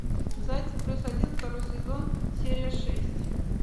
зайцев плюс один второй сезон серия шесть